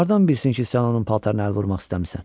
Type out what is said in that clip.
Hardan bilsin ki, sən onun paltarına əl vurmaq istəmirsən?